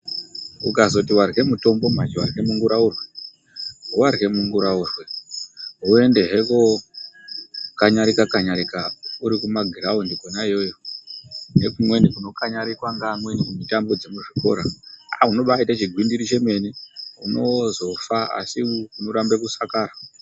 Ukazoti warye mutombo manje warye munguraurwe, warye munguraurwe woendehe kookanyarika kanyarika urikumagiraundi kona iyoyo, ngekumweni kunokanyarikwa ngeamweni kumutambo dzemuzvikora, aa unobaaite chigwindiri chemene. Unozofa asi unorambe kusakara.